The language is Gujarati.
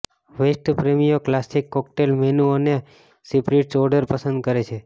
વેસ્ટ પ્રેમીઓ ક્લાસિક કોકટેલ મેનુ અને સ્પિરિટ્સ ઓર્ડર પસંદ કરે છે